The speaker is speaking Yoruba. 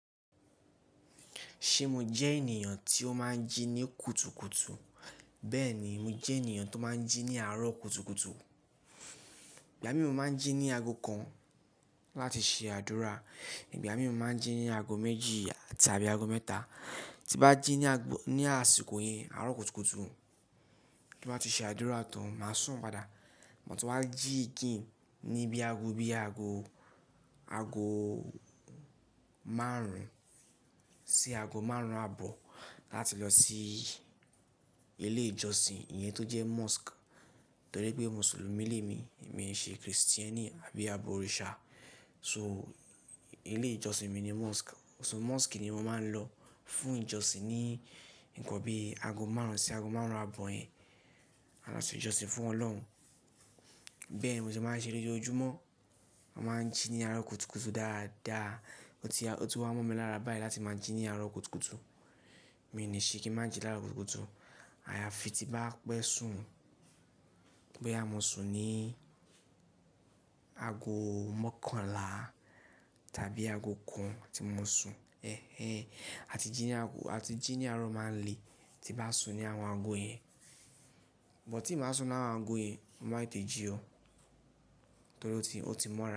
Ṣé mo jẹ́ ènìyàn tí ó máa ń jí ní kùtùkùtù? Bẹ́ẹ̀ni, mo jẹ́ ènìyàn tó máa ń jí ní àárọ̀ kùtùkùtù. Ìgbà mì mo máa ń jí ní aago kan láti ṣe àdúrà, ìgbà mì mo máa ń jí ní aago méjì tàbí aago mẹ́ta. Tí bá jí ní, ní àsìkò yẹn, àárọ̀ kùtùkùtù, tí bá ti ṣe àdúrà tán, màá sùn padà. Ma tun wá jí again ni bí i aago, bí i aago, aago márùn-ún sí aago márùn-ún àbọ̀ láti lọ sí ilé ìjọsìn, ìyẹn tó jẹ́ mosque. Torí pé Mùsùlùmí ni èmi, èmi ṣe Kristẹni àbí abọ òrìṣà. So ilé ìjọsìn mi ni mosque. So mosque ni mo máa ń lọ fún ìjọsìn ní nǹkan bí i aago márùn-ún sí aago márùn-ún àbọ̀ yẹn. A máa ṣe ìjọsìn fún Ọlọ́run. Bẹ́ẹ̀ ni mo sì máa ń ṣe lójoojúmọ́. A máa ń jí ní àárọ̀ kùtùkùtù dáadáa. Ó ti, ó ti wá mọ́ mi lára báyìí láti máa ń jí ní àárọ̀ kùtùkùtù. Mi ò ni ṣe kí n má jí ní àárọ̀ kùtùkùtù. Àyàfi tí bá pẹ́ sùn. Bóyá mo sùn ní aago mọ́kànlá tàbí aago kan tí mo sùn. Ẹ̀hẹn. A ti jí ní aago, a ti jí ní àárọ̀ máà n lé tí n bá sùn ní àwọn aago yẹn. But tí n bá sùn láwọn aago yẹn, mo má tètè jí o. Torí ó ti, ó ti mọ́ra.